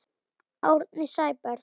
Árni Sæberg